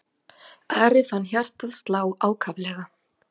Ari fann hjartað slá ákaflega.